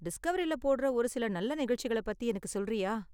டிஸ்கவரியில போடுற ஒரு சில நல்ல நிகழ்ச்சிகள பத்தி எனக்கு சொல்றியா?